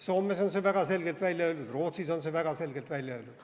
Soomes on see väga selgelt välja öeldud, Rootsis on see väga selgelt välja öeldud.